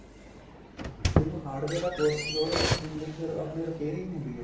ਦੇਖੋ hardware ਦਾ course ਉਹਦੇ ਵਿੱਚ ਕੀ ਹੁੰਦਾ ਆਪਣੀ repairing ਹੁੰਦੀ ਏ